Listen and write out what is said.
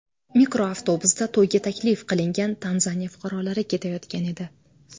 Mikroavtobusda to‘yga taklif qilingan Tanzaniya fuqarolari ketayotgan edi.